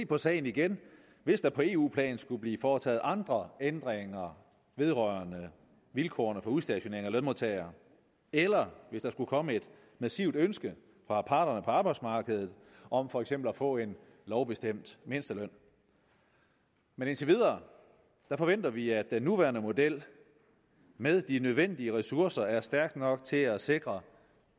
på sagen igen hvis der på eu plan skulle blive foretaget andre ændringer vedrørende vilkårene for udstationering af lønmodtagere eller hvis der skulle komme et massivt ønske fra parterne på arbejdsmarkedet om for eksempel at få en lovbestemt mindsteløn men indtil videre forventer vi at den nuværende model med de nødvendige ressourcer er stærk nok til at sikre